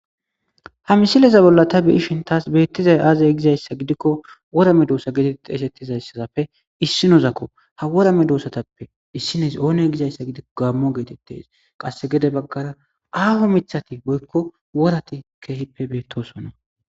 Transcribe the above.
ha misileza bolla ta biyishin taas beettizay aazay gizayssa gidikko worame doossa geeteti eshettizayssaafe issinozakko ha wora me doosatappe issines oone gizayssa gidikko gaammo geetettes qasse gede baggara aaho mithati boykko worati keehippe beettosonna